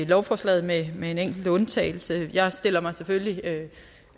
lovforslaget med med en enkelt undtagelse jeg stiller mig selvfølgelig